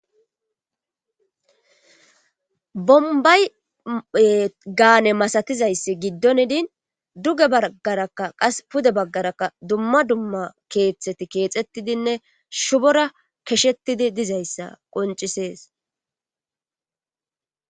bombaye gaane masatizayssi giddon idin duge baggarakka qas pude baggaraka dumma dumma keeththeti keexettidinne shubora keshettidi dizayssa qoncisees